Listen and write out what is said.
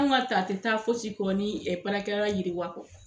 Anw ŋ'a ta a tɛ taa fosi ko ni baarakɛyɔrɔ yiriwa kɔ.